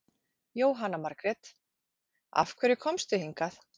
Jóhanna Margrét: Af hverju komstu hingað?